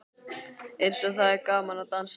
Eins og það er gaman að dansa!